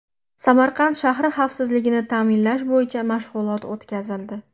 Samarqand shahri xavfsizligini ta’minlash bo‘yicha mashg‘ulot o‘tkazildi.